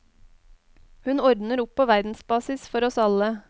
Hun ordner opp på verdensbasis, for oss alle.